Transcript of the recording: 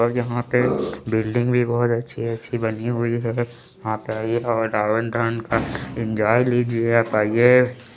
और यहाँ पे बिल्डिंग भी बोहोत अच्छी अच्छी बनी हुई है यहाँ पर आइये और रावन दहन का एन्जॉय लीजिए आप आइये--